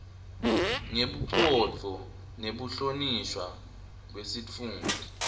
ngebucotfo nekuhlonishwa kwesitfunti